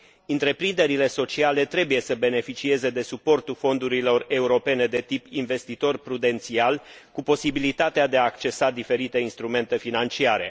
Întreprinderile sociale trebuie să beneficieze de suportul fondurilor europene de tip investitori prudențiali, cu posibilitatea de a accesa diferite instrumente financiare.